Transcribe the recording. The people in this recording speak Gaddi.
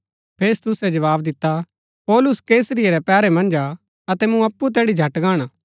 फेस्तुसै जवाव दिता पौलुस कैसरिया रै पैहरै मन्ज हा अतै मूँ अप्पु तैड़ी झट गाणा